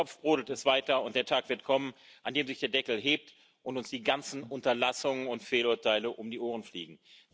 Im Topf brodelt es weiter, und der Tag wird kommen, an dem sich der Deckel hebt und uns die ganzen Unterlassungen und Fehlurteile um die Ohren fliegen.